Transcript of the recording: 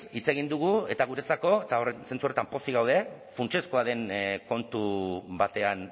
hitz egin dugu eta guretzako eta zentzu horretan pozik gaude funtsezkoa den kontu batean